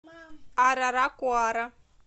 араракуара